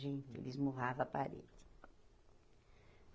Gente, ele esmurrava a parede.